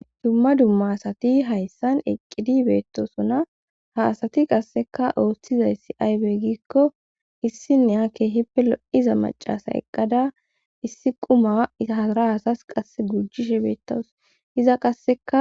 Dumma dumma asati hayssan eqqidi beettosona ha asati qasseka ooshthizayssi aybe gikko issinne ha keehippe lo'iza macasa eqqada issi quma iara asas qasse gujishe beettawus iza qasseka.